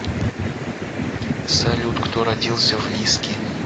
салют кто родился в лиски